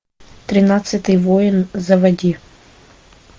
тринадцатый воин заводи